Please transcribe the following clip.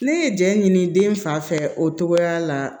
Ne ye jɛn ɲini den fa fɛ o togoya la